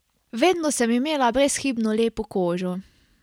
Vedno sem imela brezhibno lepo kožo.